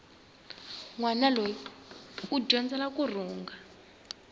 nwana loyi u dyondzela kurhunga